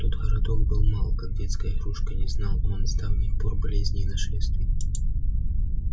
тот городок был мал как детская игрушка не знал он с давних пор болезней и нашествий